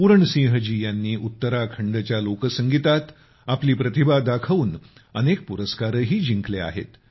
पूरण सिंह जी यांनी उत्तराखंडच्या लोकसंगीतात आपली प्रतिभा दाखवून अनेक पुरस्कारही जिंकले आहेत